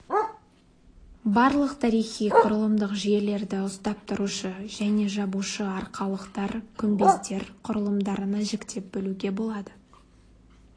барлық тарихи құрылымдық жүйелерді ұстап тұрушы және жабушы арқалықтар күмбездер құрылымдарына жіктеп бөлуге болады